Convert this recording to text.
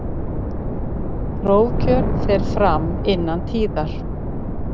Prófkjör fer fram innan tíðar.